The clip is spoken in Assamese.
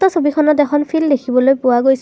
ছবিখনত এখন ফিল্ড দেখিবলৈ পোৱা গৈছে।